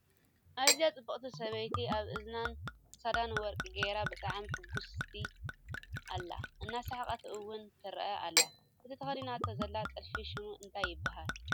እዛ ፅብቅቲ ሰበይቲ ኣብ ሕዝናን ክሳዳን ወርቂ ገይራ ብጣዕሚ ሕጉስቲ ኣላ እናሰሓቀት እውን ትርአ ኣላ ። እቲ ተከዲናቶ ዘላ ጥልፊ ሽሙ እንታይ ይባሃል ?